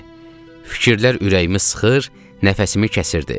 Fikirlər ürəyimi sıxır, nəfəsimi kəsirdi.